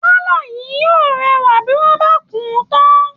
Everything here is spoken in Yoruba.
Pálọ̀ yìí yóò rẹwà bí wọ́n bá kùn-ún tán